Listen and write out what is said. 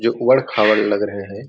जो उबड़ खाबड़ लग रहे हैं।